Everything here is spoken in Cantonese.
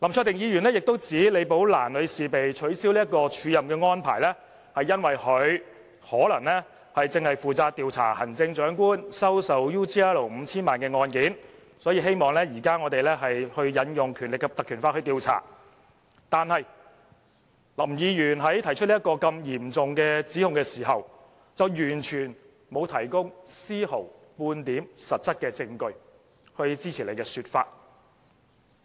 林卓廷議員亦指李寶蘭女士被取消署任的安排，可能是因為她正負責調查行政長官收受澳洲企業 UGL Limited 5,000 萬元的案件，所以，他希望立法會現時引用《條例》來進行調查，但林議員在提出這個嚴重指控時，卻完全沒有提供絲毫半點實質證據來支持他的說法，